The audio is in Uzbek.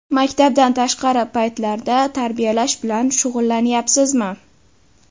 Maktabdan tashqari paytlarda tarbiyalash bilan shug‘ullanyapsizmi?